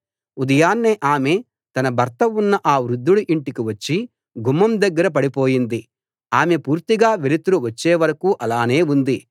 ఉదయాన్నే ఆమె తన భర్త ఉన్న ఆ వృద్దుడి ఇంటికి వచ్చి గుమ్మం దగ్గర పడిపోయింది ఆమె పూర్తిగా వెలుతురు వచ్చేవరకూ అలానే ఉంది